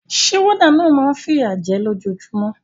Sé warder náà ma n fìyà je lójojúmó